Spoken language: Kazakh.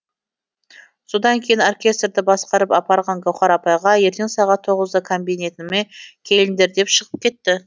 содан кейін оркестрді басқарып апарған гаухар апайға ертең сағат тоғызда кабинетіме келіңдер деп шығып кетті